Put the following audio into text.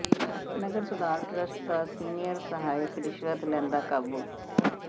ਨਗਰ ਸੁਧਾਰ ਟਰੱਸਟ ਦਾ ਸੀਨੀਅਰ ਸਹਾਇਕ ਰਿਸ਼ਵਤ ਲੈਂਦਾ ਕਾਬੂ